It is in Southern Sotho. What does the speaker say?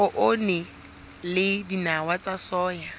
poone le dinawa tsa soya